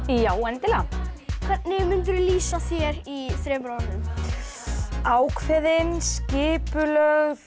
já endilega hvernig mundirðu lýsa þér í þremur orðum ákveðin skipulögð